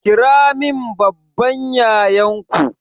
Kiramin babban yayanku